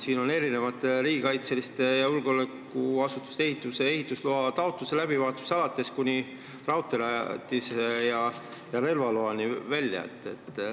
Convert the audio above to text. Siin on neid alates riigikaitselise ja julgeolekuasutuse ehitise ehitusloa taotluse läbivaatusest kuni raudteerajatise ja relvaloani välja.